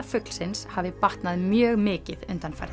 fuglsins hafi batnað mjög mikið undanfarið